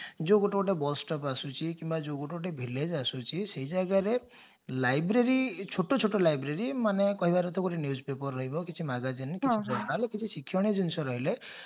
ଯଉ ଗୋଟେ ଗୋଟେ bus stop ଆସୁଛି କିମ୍ବା ଗୋଟେ ଗୋଟେ village ଆସୁଛି ସେ ଜାଗାରେ library ଛୋଟ ଛୋଟ library ମାନେ କହିବାର କଥା ଗୋଟେ newspaper ରହିବ କିଛି magazine ଯାହାହେଲେ କିଛି ଶିକ୍ଷଣୀୟ ଜିନିଷ ରହିଲେ